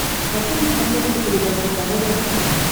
хочу на смотрешке передачу здоровое тв